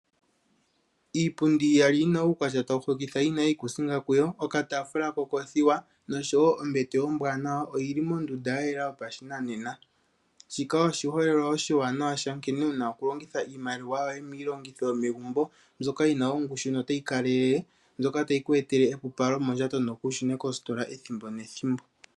Iipundi iyali yima uukwatya tawu hokitha yina iikusinga kuyo okataafula kokoothiwa noshowo ombete ombete ombwaanawa oyili mondunda yayela yopashinanena shika oshiholelwa oshiwanawa sha nkene wuna okulongitha iimaliwa yoye miilongithi yomegumbo mbyoka yina ongushu notayi kalele mbyoka tayi ku etele ongushu notayi ku etele epupalo mondjato nokuushune kositola ethimbo nethimbo.